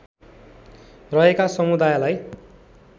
रहेका समुदायलाई